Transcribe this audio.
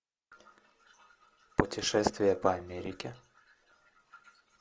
путешествие по америке